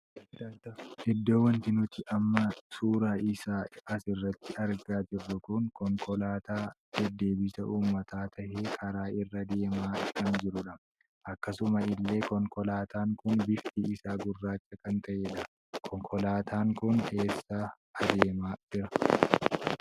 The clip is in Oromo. Iddoo wanti nuti amma suuraa isaa asi irratti argaa jirru kun konkolaataa deddeebisa uummataa tahee karaa irra adeemaa kan jirudha. akkasuma illee konkolaataan kun bifti isaa gurraacha kan tahedha. konkolaataan Kun eessa adeemaa jira?